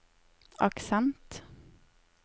aksent